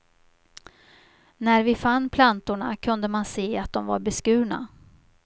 När vi fann plantorna kunde man se att de var beskurna.